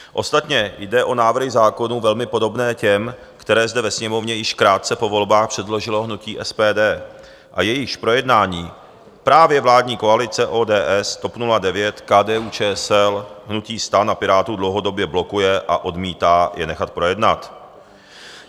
Ostatně jde o návrhy zákonů velmi podobné těm, které zde ve Sněmovně již krátce po volbách předložilo hnutí SPD a jejichž projednání právě vládní koalice ODS, TOP 09, KDU-ČSL, hnutí STAN a Pirátů dlouhodobě blokuje a odmítá je nechat projednat.